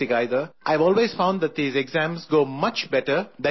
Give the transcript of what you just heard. I have always found that these exams go much better than you fear before